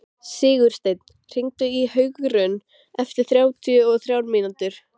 Sigursteinn, hringdu í Hugraun eftir þrjátíu og þrjár mínútur.